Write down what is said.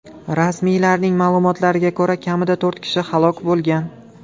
Rasmiylarning ma’lumotlariga ko‘ra, kamida to‘rt kishi halok bo‘lgan.